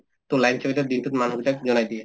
to চকীদাৰে দিনতোত মানুহ কেইটাক জনাই দিয়া